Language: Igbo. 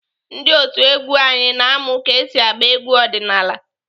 Ndị otu egwu anyị na-amụ ka esi agba egwu ọdịnaala.